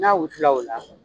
N'a wusu la ola.